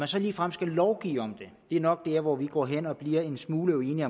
så ligefrem skal lovgive om det er nok der hvor vi går hen og bliver en smule uenige